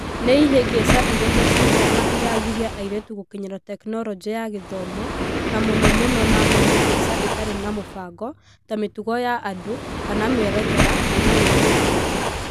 Nĩ ihĩngica irĩkũ ciĩho na iragiria airĩtu gũkinyĩra Tekinoronjĩ ya Gĩthomo, na mũno mũno na mĩhĩngica itarĩ na mũbango ta mĩtugo ya andũ /mĩerekera/ wĩtĩkio ?